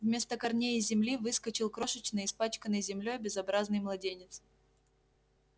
вместо корней из земли выскочил крошечный испачканный землёй безобразный младенец